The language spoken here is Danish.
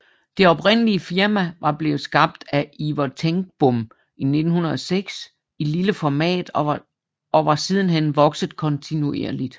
Det oprindelige firma var blevet skabt af Ivar Tengbom i 1906 i lille format og var siden hen vokset kontinuerligt